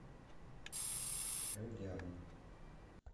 элдиарн